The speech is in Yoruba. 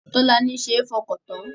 Tolani ṣe é fọkàn tán